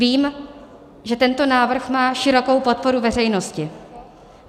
Vím, že tento návrh má širokou podporu veřejnosti.